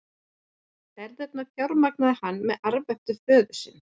Ferðirnar fjármagnaði hann með arfi eftir föður sinn.